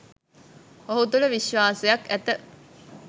ඔහු තුළ විශ්වාසයක් ඇත.